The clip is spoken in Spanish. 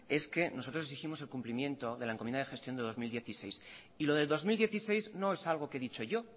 es que nosotros exigimos el cumplimiento de la encomienda de gestión de dos mil dieciséis y lo de dos mil dieciséis no es algo que he dicho yo